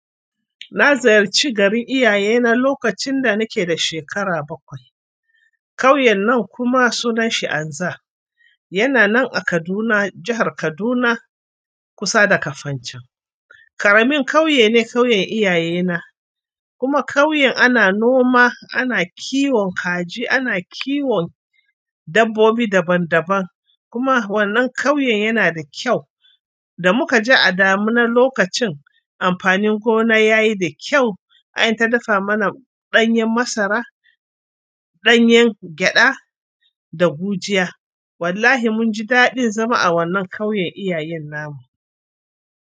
Na ziyarci garin iyaye na lokacin da nake da shekara bakwai. Ƙauyen nan kuma sunan shi Anza. Yana nan a Kaduna, jahar Kaduna kusa da Kafanchan. Ƙaramin ƙauye ne ƙauyen iyaye na, kuma ƙauyen ana noma, ana kiwon kaji, ana kiwon dabbobi daban daban, kuma wannan ƙauyen yana da kyau. Da muka je a damuna lokacin amfanin gona yayi da kyau, ai an ta dafa mana ɗanyen masara, ɗanyen gyaɗa da gujiya. Wallahi mun ji daɗin zama a wannan ƙauyen iyayen namu.